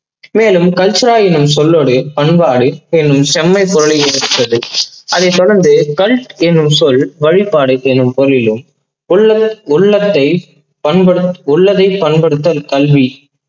மேலும் cultura என்னும் சொல்லோடு பண்பாடு செம் செம்மை பொருளை ஈர்த்தது. அதை தொடர்ந்து கல் என்னும் சொல் வழிபாடு என்னும் பொரிளிலும் உள்ளத்~உள்ளத்தை பண்படுத் உள்ளதை பண்படுத்தல் கல்வி